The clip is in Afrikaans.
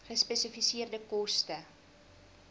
gespesifiseerde koste